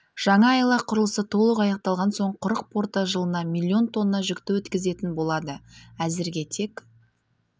жаңа айлақ құрылысы толық аяқталған соң құрық порты жылына млн тонна жүкті өткізетін болады әзірге тек